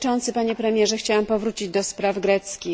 Panie Premierze! Chciałam powrócić do spraw greckich.